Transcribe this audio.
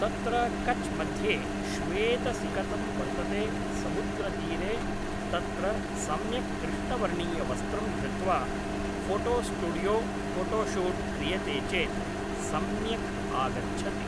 तत्र कच् मध्ये श्वेतसिकतं वर्तते समुद्रतीरे तत्र सम्यक् कृष्णवर्णीयवस्त्रं धृत्वा फोटोस्टुडियो फोटोशूट् क्रियते चेत् सम्यक् आगच्छति